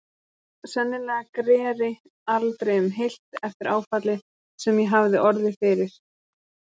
Sennilega greri aldrei um heilt eftir áfallið sem ég hafði orðið fyrir.